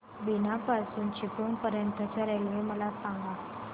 बीना पासून चिपळूण पर्यंत च्या रेल्वे मला सांगा